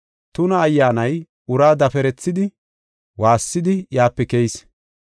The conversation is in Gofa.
Tuna ayyaanay uraa daferethidi, waassidi iyape keyis.